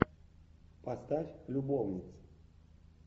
поставь любовницы